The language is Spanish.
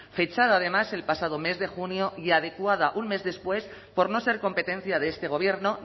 fechada además el pasado mes de junio y adecuada un mes después por no ser competencia de este gobierno